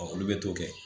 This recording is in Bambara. olu bɛ t'o kɛ